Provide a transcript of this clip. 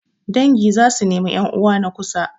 Dangi za su nemi 'yan'uwa na kusa.